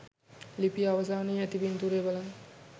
ලිපිය අවසානයේ ඇති පින්තූරය බලන්න.